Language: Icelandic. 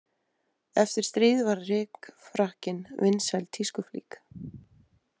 Eftir stríð varð rykfrakkinn vinsæl tískuflík.